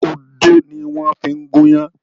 Odó ni wọ́n ń fi gúnyán.